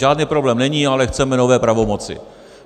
Žádný problém není, ale chceme nové pravomoci.